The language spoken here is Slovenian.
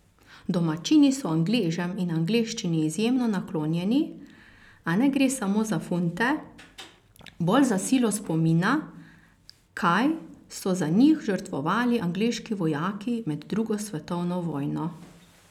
Domačini so Angležem in angleščini izjemno naklonjeni, a ne gre samo za funte, bolj za silo spomina, kaj so za njih žrtvovali angleški vojaki med drugo svetovno vojno.